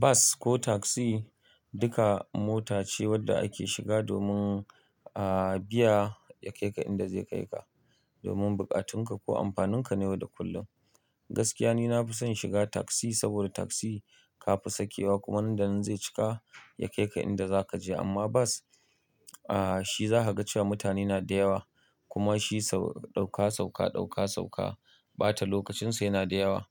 Bas ko taksi duka mota ce wanda ake shiga domin, ah, biya ya kai ka inda zai kai ka. Domin buƙatunka ko amfanunka ne yau da kullum. Gaskiya ni na fi son shiga taksi saboda taksi ka fi sakewa kuma nan da nan zai cika ya kai ka inda zaka je. Amma bas, ah, shi za ka ga cewa mutane na da yawa kuma shi sau ɗauka, sauka, ɗauka, sauka. Bata lokacin sa yana da yawa.